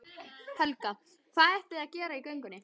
Helga: Hvað ætlið þið að gera í göngunni?